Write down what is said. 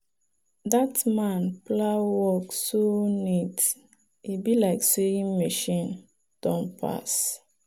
that man plow work so neat e be like sewing machine don pass.